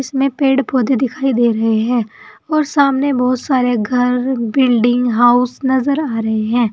इसमें पेड़ पौधे दिखाई दे रहे हैं और सामने बहोत सारे घर बिल्डिंग हाउस नजर आ रहे हैं।